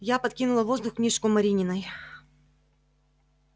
я подкинула в воздух книжку марининой